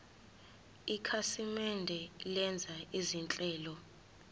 ikhasimende lenza izinhlelo